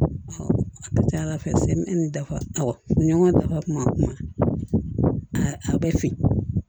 A ka ca ala fɛ ni dafa ɲɔgɔn dafa kuma a bɛ fin